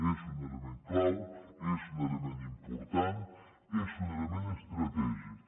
és un element clau és un element important és un element estratègic